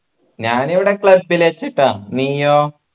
ഞാനിവിടെ club ൽ വെച്ചിട്ട നീയോ